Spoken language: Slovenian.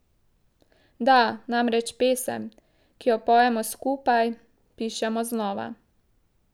Da namreč pesem, ki jo pojemo skupaj, pišemo znova.